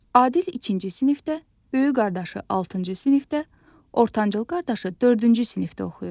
Adil ikinci sinifdə, böyük qardaşı altıncı sinifdə, ortancıl qardaşı dördüncü sinifdə oxuyur.